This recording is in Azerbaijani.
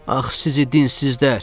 Ax, sizi dinsizlər.